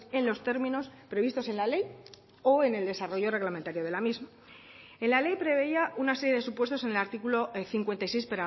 en los términos previstos en la ley o en el desarrollo reglamentario de la misma en la ley preveía una serie de supuestos en el artículo cincuenta y seis